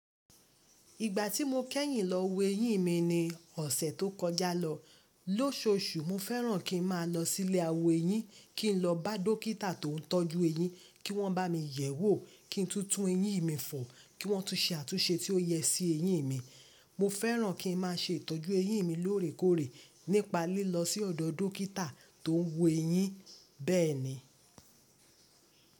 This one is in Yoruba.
Ìgbà tí mo kẹ́yìn lọ wo eyín mi ní ọ̀sẹ̀ tó kọjá lọ lóṣooṣù, mo fẹ́ràn kí n máa lọ sí ilé àwọn eyín, kí n lọ bá dókítà tó n tọ́jú eyín kí wọ́n bá mi yẹ̀wò, kí n tún tún eyín mi fò, kí wọ́n tún se àtúnṣe tí ó yẹ sí eyín mi. Mo fẹ́ràn kí n má se ìtọ́jú eyín mi lóòrèkóòrè nípa lílọ sí ọ̀dọ̀ dókítà tó ń wo eyín bẹ́ẹ̀ni.